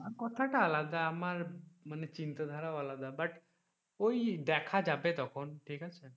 আমার কথাটা আলাদা আমার মানে চিন্তা ধারা ও আলাদা but ওই দেখা যাবে তখন ঠিক আছে।